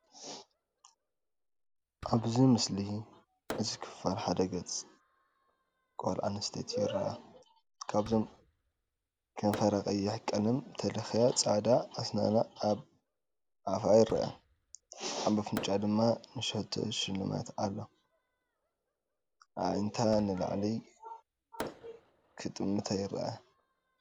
ኣብዚ ምስሊ እዚ ሓደ ክፋል ገጽ ጓል ኣንስተይቲ ይርአ። ካብዚኦም ከንፈራ ቀይሕ ቀለም ተለክያ ጻዕዳ ኣስናና ኣብ ኣፋ ይርአ። ኣብ ኣፍንጫኣ ድማ ንእሽቶ ሽልማት ኣሎ። ኣዒንታ ንላዕሊ ክጥምታ ይረኣያ።